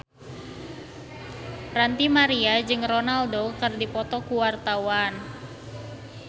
Ranty Maria jeung Ronaldo keur dipoto ku wartawan